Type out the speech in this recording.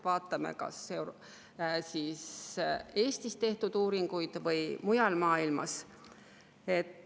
Vaatame kas Eestis või mujal maailmas tehtud uuringuid.